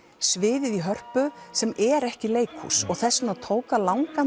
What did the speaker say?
sviðið í Hörpu sem er ekki leikhús þess vegna tók langan